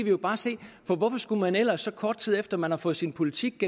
jo bare se for hvorfor skulle man ellers så kort tid efter at man har fået sin politik